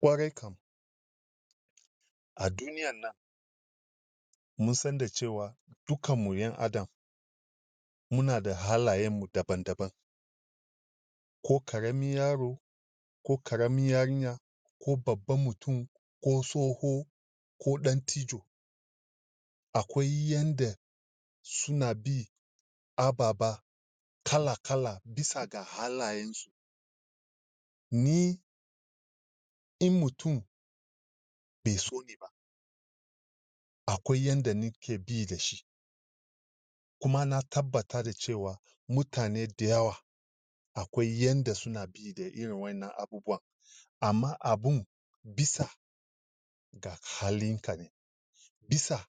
Kwarai kam,a duniyan nan, musan da cewa dukan mu yan adam, muna da halayen mu daban daban, ko karamin yaro, ko karamin yarinya, ko babban mutun ko tsoho ko dattijo. Akwai yanda suna bi ababa kala kala bisa ga halaye su. Ni in mutun be so akwaw yanda nike bi da shi, kuma na tabata da cewa mutane de yawa akwai yanda suna bi da irin wa'inan abubuwa, ama abun bisa ga halinkane bisa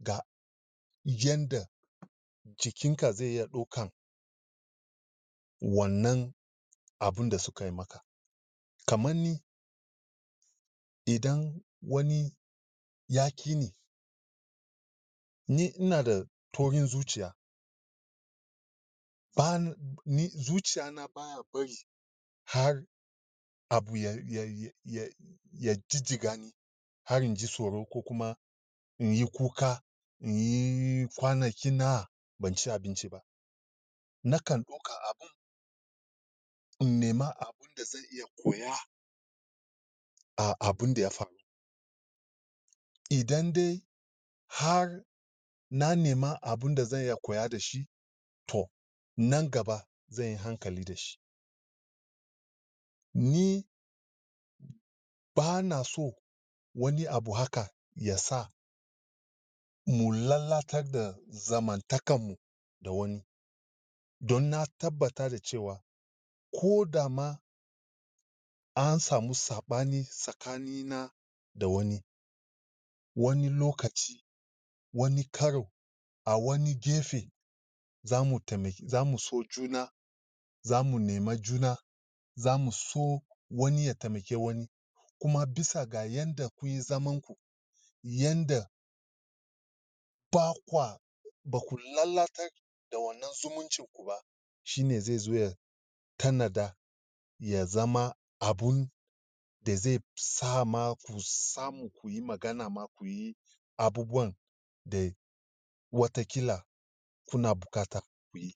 ga yanda jikinka zeya ɗokan wannan abun da sukayi maka. Kamanni idan wani yakini, ni inada taurin zuciya ban ni, zuciyana baya barin har abu ya ya ya jijigani har inji tsoron ko kuma inyi kuka inyii kwanaki nawa banci abinci ba, nakan ɗoka abun in nema abun da zan iya koya a abun da ya faru idan de har na nema abun da zan iya koya dashi, toh nan gaba zenyi hankali dashi. Ni bana so wani abu haka yasa mu lalatar da zamantakan mu da wani, don na tabata dacewa kodama ansamu sabani tsakani na da wai wani, wani lokaci wani karo awani gefe, zamu tema zamu so juna zamu nema juna zamu so wani ya temake wani, kuma bisa ga yanda kunyi zaman ku, yanda bakwa, baku lallatar da wanan zumuncin kuba, shine zezo ya tanada ya zama abun deze sama ku samu ku samu kuyi magana ma kuyi abubuwan da wata kila kuna bukata kuyi.